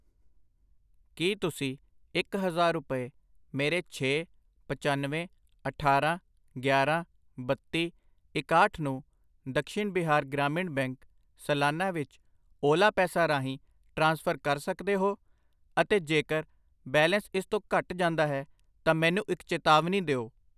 ਕੀ ਤੁਸੀਂ ਇੱਕ ਹਜ਼ਾਰ ਰੁਪਏ ਮੇਰੇ ਛੇ, ਪੱਚਨਵੇਂ, ਅਠਾਰਾਂ, ਗਿਆਰਾਂ, ਬੱਤੀ, ਇਕਾਹਠ ਨੂੰ ਦਕਸ਼ੀਨ ਬਿਹਾਰ ਗ੍ਰਾਮੀਣ ਬੈਂਕ ਸਲਾਨਾ ਵਿੱਚ ਓਲਾ ਪੈਸਾ ਰਾਹੀਂ ਟ੍ਰਾਂਸਫਰ ਕਰ ਸਕਦੇ ਹੋ? ਅਤੇ ਜੇਕਰ ਬੈਲੇਂਸ ਇਸ ਤੋਂ ਘੱਟ ਜਾਂਦਾ ਹੈ ਤਾਂ ਮੈਨੂੰ ਇੱਕ ਚੇਤਾਵਨੀ ਦਿਓ?